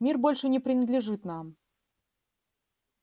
мир больше не принадлежит нам